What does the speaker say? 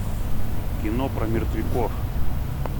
кино про мертвяков